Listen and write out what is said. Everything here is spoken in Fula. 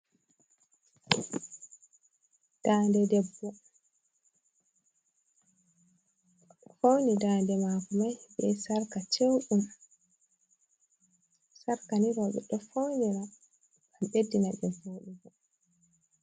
Ndade debbo, o fauni dande mako mai be sarka ceɗum, sarka ni rewɓe ɗo faunira gam beddina debbo woɗugo.